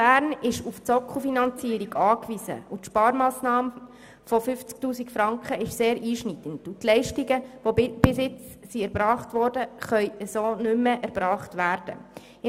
Bern ist auf die Sockelfinanzierung angewiesen, und die Sparmassnahme von 50 000 Franken ist sehr einschneidend, sodass die bisher erbrachten Leistungen nicht mehr so erbracht werden können.